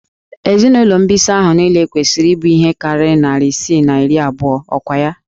Ezinụlọ mbisa ahụ niile kwesịrị ịbụ ihe karịrị narị isii na iri abụọ, ọkwa ya?